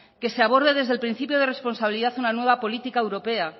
que se aborde desde el principio de responsabilidad una nueva política europea